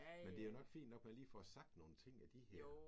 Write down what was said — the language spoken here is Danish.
Men det er jo nok fint nok at man lige får sagt nogle ting af de her